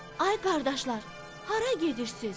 "Ay qardaşlar, hara gedirsiz?"